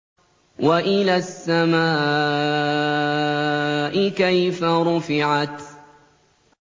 وَإِلَى السَّمَاءِ كَيْفَ رُفِعَتْ